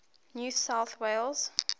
new south wales